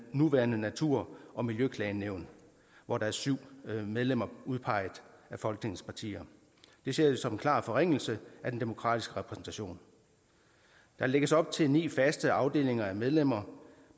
nuværende natur og miljøklagenævn hvor der er syv medlemmer udpeget af folketingets partier det ser vi som en klar forringelse af den demokratiske repræsentation der lægges op til ni faste afdelinger af medlemmer